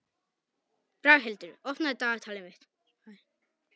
Braghildur, opnaðu dagatalið mitt.